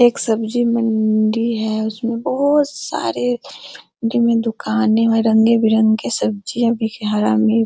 एक सब्जीमंडी है उस में बहुत सारे जमी दुकाने और रंगे-बिरंगे सब्जियां भी हैं हरा मिर्च --